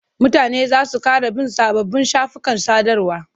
Mutane za su ƙara bin sababbin shafukan sadarwa.